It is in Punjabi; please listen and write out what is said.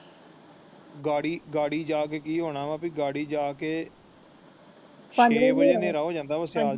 ਗੱਡੀ ਜਾ ਕੇ ਕਿ ਹੋਣਾ ਵਾ ਕਿ ਗੱਡੀ ਜਾ ਕੇ ਪੰਜ ਵੱਜੇ ਛੇਹ ਕੋ ਵੱਜੇ ਹਨੇਰਾ ਹੋ ਜਾਂਦਾ ਹੈ